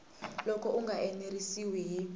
loko u nga enerisiwi hi